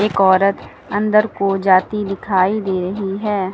औरत अंदर को जाती दिखाई दे रही है।